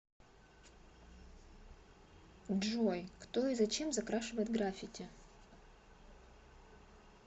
джой кто и зачем закрашивает граффити